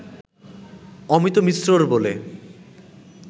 অমিত মিশ্রর বলে